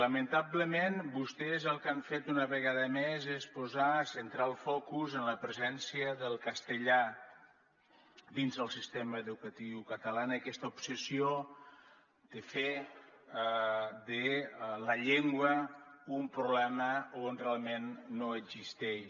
lamentablement vostès el que han fet una vegada més és posar centrar el focus en la presència del castellà dins del sistema educatiu català en aquesta obsessió de fer de la llengua un problema on realment no existeix